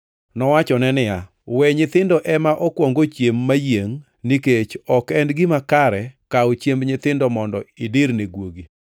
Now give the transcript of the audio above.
Nowachone niya, “We nyithindo ema okuong ochiem mayiengʼ, nikech ok en gima kare kawo chiemb nyithindo mondo idir ne guogi.”